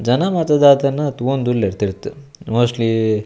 ಜನ ಮಾತ ದಾದನ ತೋವೊಂದುಲ್ಲೆರ್ ತಿರ್ತ್ ಮೋಸ್ಟ್ಲಿ --